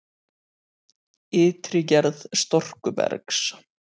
Ytri gerð storkubergs